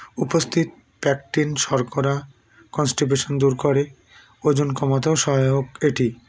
উপস্থিত practin শর্করা constipation দূর করে ওজন কমাতেও সহায়ক এটি